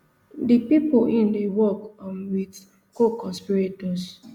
di pipo im dey work um wit coconspirators